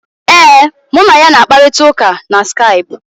Ee, mụ na ya na-akparịta ụka na Skaipụ.